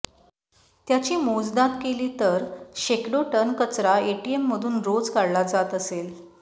त्याची मोजदाद केली तर शेकडो टन कचरा एटीएममधून रोज काढला जात असेल